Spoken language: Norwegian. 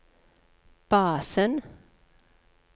basen